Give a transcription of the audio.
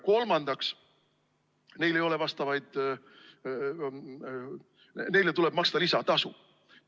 Kolmandaks, neile tuleb maksta lisatasu.